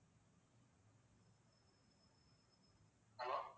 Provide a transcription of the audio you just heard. hello